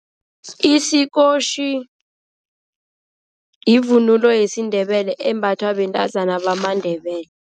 Isikotjhi yivunulo yesiNdebele embathwa bentazana bamaNdebele.